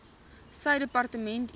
sy departement enige